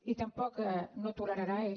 i tampoc no ho tolerarà és